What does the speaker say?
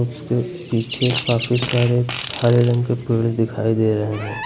उसके पीछे काफी सारे हरे रंग के पेड़ दिखाई दे रहे हैं।